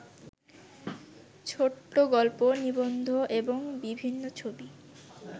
ছোটগল্প, নিবন্ধ এবং বিভিন্নছবি